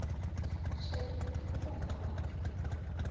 tjhee ke ne kekopa matlaa